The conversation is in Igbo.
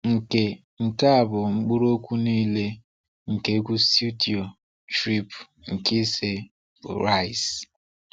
Nke Nke a bụ mkpụrụokwu niile nke egwu studio Trip nke ise bụ Rise.